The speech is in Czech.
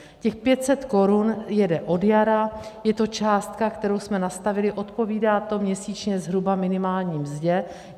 Těch 500 korun jede od jara, je to částka, kterou jsme nastavili, odpovídá to měsíčně zhruba minimální mzdě.